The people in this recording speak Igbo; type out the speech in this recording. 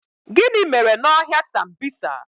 Gịnị mere n' ọhịa sambisa?